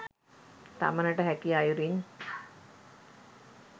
තමනට හැකි අයුරින්